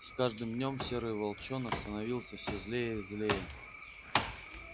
с каждым днём серый волчонок становился всё злее и злее